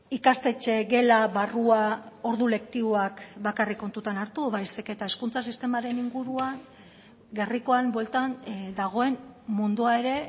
ikastetxe gela barrua ordu lektiboak bakarrik kontutan hartu baizik eta hezkuntza sistemaren inguruan gerrikoan bueltan dagoen mundua ere